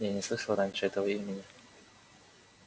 я не слышал раньше этого имени